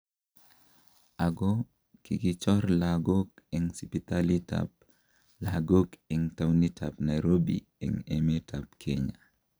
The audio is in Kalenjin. Ako kikichor lakook en sibitaliitab lakook en towunitab Nairobi en emetab Kenya